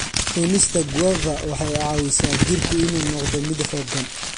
Cunista guava waxay caawisaa jirku inuu noqdo mid xoogan.